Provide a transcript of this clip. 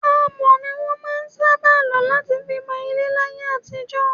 Amọ̀ ni wọn máa ń sábà lọ láti fi mọ ilé láyé àtijọ́.